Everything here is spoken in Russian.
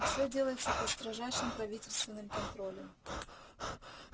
и всё делается под строжайшим правительственным контролем